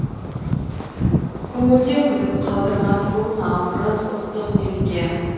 көңілде күдік қалдырмас бұл наурыз ұлттық мереке